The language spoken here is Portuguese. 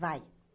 Vai.